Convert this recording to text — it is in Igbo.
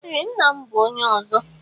Ee ńnà m bụ ónyé ọzọ.